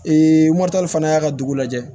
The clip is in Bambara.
fana y'a ka dugu lajɛ